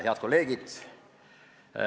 Head kolleegid!